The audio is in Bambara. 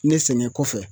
Ne sɛgɛn kɔfɛ